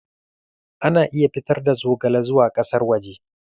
Ana iya fitar da zogale zuwa ƙasar waje.